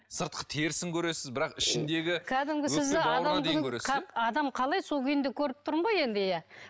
сыртқы терісін көресіз бірақ ішіндегі адам қалай сол күйінде көріп тұрмын ғой енді иә